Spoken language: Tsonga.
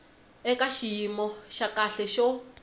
eka xiyimo xa kahle xo